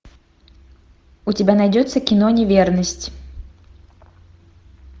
у тебя найдется кино неверность